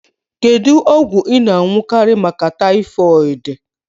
Kedu ogwu I n'añukari maka typhoid?